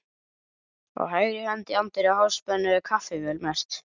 Á hægri hönd í anddyri Háspennu var kaffivél merkt